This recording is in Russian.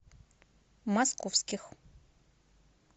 московских